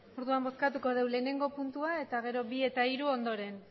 orduan bozkatuko dugu lehenengo puntua eta gero bi eta hiru ondoren